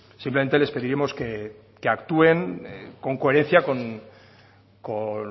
simplemente les pediremos que actúen con coherencia con